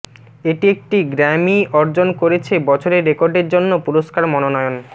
এটি একটি গ্র্যামি অর্জন করেছে বছরের রেকর্ডের জন্য পুরস্কার মনোনয়ন